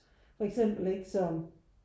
For eksempel ikke så